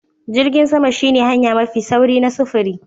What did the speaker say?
Jirgin sama shine hanya mafi sauri na sufuri.